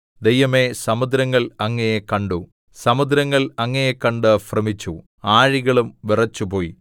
ദൈവമേ സമുദ്രങ്ങള്‍ അങ്ങയെ കണ്ടു സമുദ്രങ്ങള്‍ അങ്ങയെ കണ്ടു ഭ്രമിച്ചു ആഴികളും വിറച്ചുപോയി